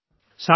جئے ہند